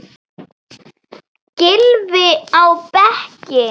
Gylfi á bekkinn?